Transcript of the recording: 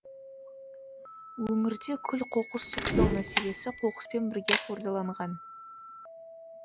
өңірде күл қоқыс сұрыптау мәселесі қоқыспен бірге қордаланған